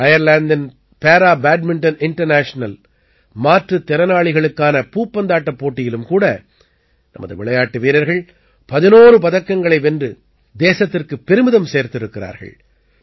அயர்லாந்தின் para badminton international மாற்றுத் திறனாளிகளுக்கான பூப்பந்தாட்டப் போட்டியிலும் கூட நமது விளையாட்டு வீரர்கள் 11 பதக்கங்களை வென்று தேசத்திற்குப் பெருமிதம் சேர்த்திருக்கிறார்கள்